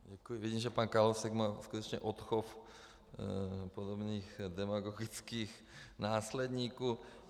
Vidím, že pan Kalousek má skutečně odchov podobných demagogických následníků.